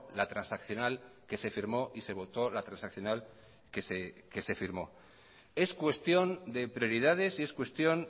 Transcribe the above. la transaccional que se firmó y se votó la transaccional que se firmó es cuestión de prioridades y es cuestión